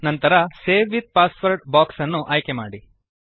ನಂತರ save with password box ಅನ್ನು ಆಯ್ಕೆಮಾಡಿ